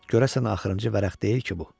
Görəsən axırıncı vərəq deyil ki bu?